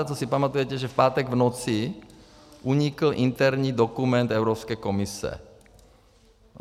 A to si pamatujete, že v pátek v noci unikl interní dokument Evropské komise.